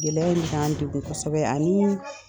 Gɛlɛya in bi k'an degun kosɛbɛ ani